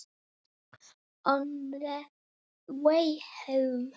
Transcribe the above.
Á leiðinni heim?